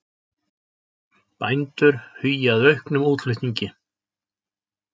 Bændur hugi að auknum útflutningi